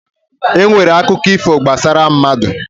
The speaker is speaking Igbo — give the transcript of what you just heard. E nwere akụkọ ifo gbasara mmadụ.